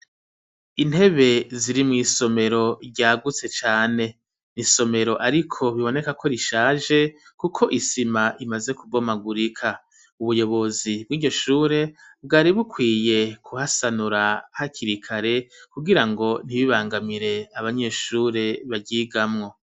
Intebe ziri mw'isomero ryagutse cane n'isomero ariko biboneka ko rishaje kuko isima imaze kubomagurika ubuyobozi bwiryo shure bwari bukwiye kuhasanura hakiri kare kugirango ntibibangamire abanyeshure baryigamwo